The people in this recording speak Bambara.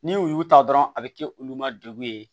Ni u y'u ta dɔrɔn a bɛ kɛ olu ma degun ye